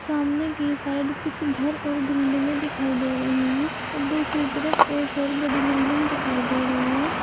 सामने की साइड कुछ घर और बिल्डिंगे दिखाई दे रही हैं और दूसरी तरफ एक और बड़ी बिल्डिंग दिखाई दे रही है।